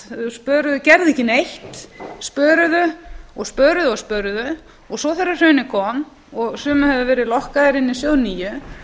spöruðu og gerðu ekki neitt spöruðu spöruðu og spöruðu og svo þegar hrunið kom og sumir höfðu verið lokkaðir inn í sjóð níu